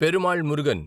Perumal Murugan